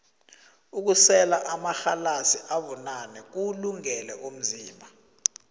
ukusela amarhalasi abunane kuwulungele umzimba